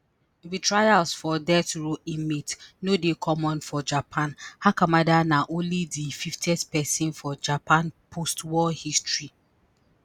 retrials for death row inmates no dey common for japan hakamada na only di fifth pesin for japan postwar history